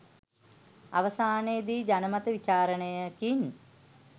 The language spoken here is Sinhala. අවසානයේදී ජනමත විචාරණයකින්